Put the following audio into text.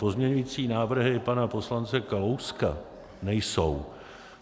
Pozměňovací návrhy pana poslance Kalouska nejsou.